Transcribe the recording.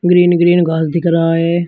Green green घास दिख रहा हैं।